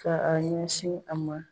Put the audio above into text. Ka a ɲɛsin a ma